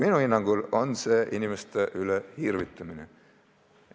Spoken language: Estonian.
Minu hinnangul on see inimeste üle irvitamine.